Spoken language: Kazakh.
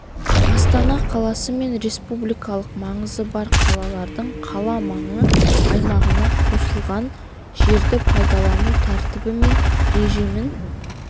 астана қаласы мен республикалық маңызы бар қалалардың қала маңы аймағына қосылған жерді пайдалану тәртібі мен режимін